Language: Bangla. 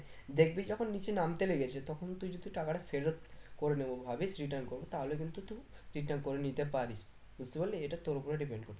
দেখবি যখন নিচে নামতে লেগেছে তখন তুই যদি টাকাটা ফেরত করে নেবো ভাবিস return করবো তাহলে কিন্তু তুই return করে নিতে পারিস বুঝতে পারলি এটা তোর উপরে depend করছে